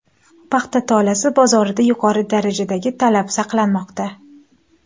Paxta tolasi bozorida yuqori darajadagi talab saqlanmoqda.